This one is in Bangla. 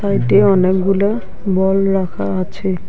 কয়টি অনেকগুলো বল রাখা আছে।